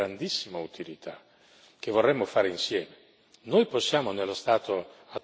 Noi possiamo, nello stato attuale, integrare le norme che sono a disposizione.